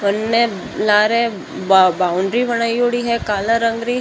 परण लार बाउंडरी बनायोडी है काला रंग री।